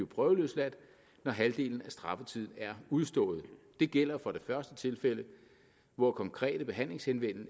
prøveløsladelse når halvdelen af straffetiden er udstået det gælder for det første tilfælde hvor konkrete behandlingshensyn